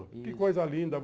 Que coisa linda.